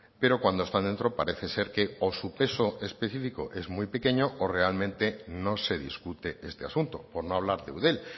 pero cuando están dentro parece ser que o su peso específico es muy pequeño o realmente no se discute este asunto por no hablar de eudel